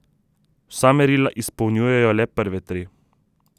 Vsa merila izpolnjujejo le prve tri.